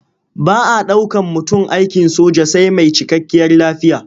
Ba a ɗaukan mutum aikin soja sai mai cikakkiyar lafiya.